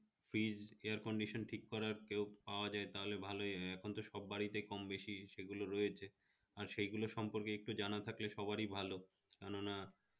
fridge, air-condition ঠিক করার যদি কেউ পাওয়া যায় তাহলে ভালই হয় একান্তর কমবেশি সব বাড়িতে সেগুলো রয়েছে, আর সেগুলো সম্পর্কে একটু জানা থাকলে সবারই ভালো কেননা